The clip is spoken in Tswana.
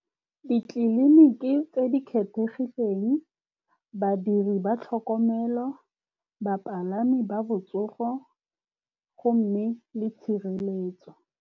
Ditleliniki tse di kgethegileng, badiri ba tlhokomelo, bapalami ba botsogo, go mme le tshireletso.